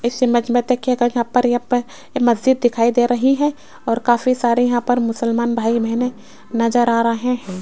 इस इमेज मे देखियेगा यहां पर यहां पे एक मस्जिद दिखाई दे रही है और काफी सारे यहां पर मुस्लमान भाई बहने नज़र आ रहे है।